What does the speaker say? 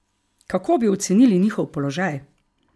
Kako bi ocenili njihov položaj?